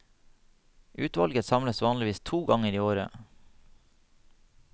Utvalget samles vanligvis to ganger i året.